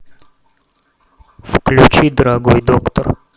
включи дорогой доктор